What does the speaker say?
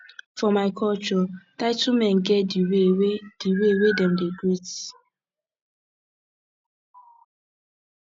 for my culture title men get the way wey the way wey dem dey greet